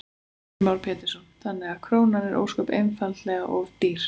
Heimir Már Pétursson: Þannig að krónan er ósköp einfaldlega of dýr?